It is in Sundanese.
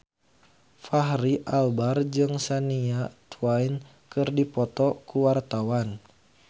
Fachri Albar jeung Shania Twain keur dipoto ku wartawan